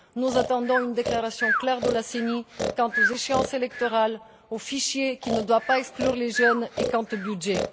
Nous attendons une déclaration claire de la CENI quant aux échéances électorales, aux fichiers qui ne doivent pas exclure les jeunes, et au budget.